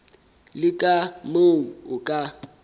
le ka moo o ka